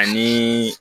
Ani